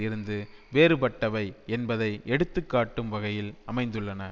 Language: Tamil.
இருந்து வேறுபட்டவை என்பதை எடுத்துக்காட்டும் வகையில் அமைந்துள்ளன